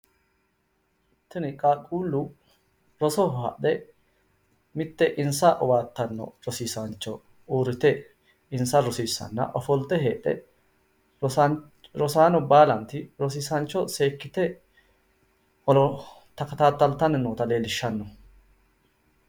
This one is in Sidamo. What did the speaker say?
Tini qaaqquullu rosoho hadhe mitte insa rosiissanna ofolte heedhe rosaano baalanti rosiisaancho seekkita horo takataaltanni noota leellishshanno.